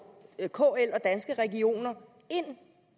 kl og danske regioner ind